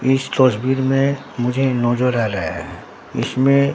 इस तस्वीर में मुझे नजर आ रहा है इसमें--